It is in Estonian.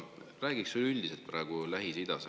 Räägiks praegu üleüldiselt Lähis-Idast.